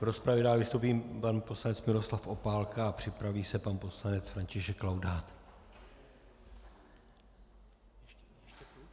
V rozpravě dál vystoupí pan poslanec Miroslav Opálka a připraví se pan poslanec František Laudát.